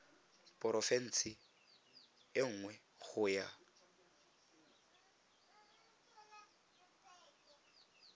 porofense e nngwe go ya